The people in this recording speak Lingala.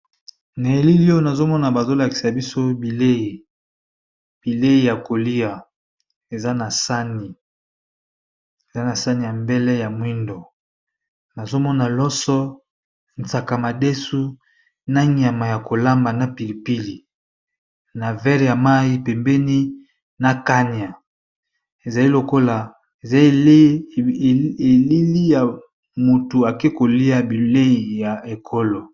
Na elili oyo bazolakisa biso biieyi eza na saani ya mbele ya moyindo namoni loso, madeso na nyama ya kolamba na pilipili na verre ya mayi pembeni na kanya eza ya mutu akeyi kolya bileyi ya ekolo.